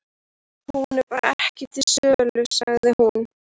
Hún er bara ekki til sölu, sagði hún.